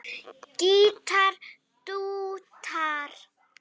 Gítar dúettar